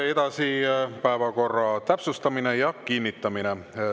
Edasi päevakorra täpsustamine ja kinnitamine.